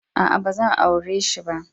Aa, ba zan aure si ba.